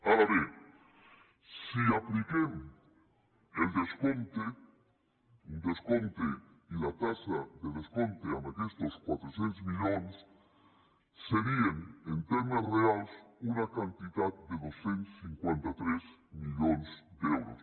ara bé si apliquem el descompte un descompte i la taxa de descompte a aquestos quatre cents milions seria en termes reals una quantitat de dos cents i cinquanta tres milions d’euros